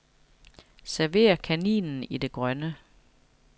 Server kaninen i det grønne.